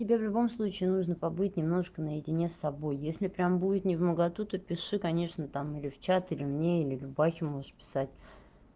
тебе в любом случае нужно побыть немножко наедине с собой если прямо будет невмоготу то пиши конечно там или в чат или мне или любахе можешь писать